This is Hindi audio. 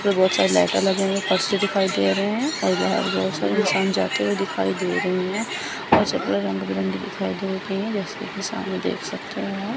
उपर बहोत सारी लाइटा लगी हुई परस दिखाई दे रहे है और और बाहर बहोत सारे इंसान जाते हुए दिखाई दे रहे हैं और चपलें रंग बिरंगी दिखाई दे रही हैं जैसे कि सामने देख सकते हैं आप।